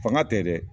Fanga tɛ dɛ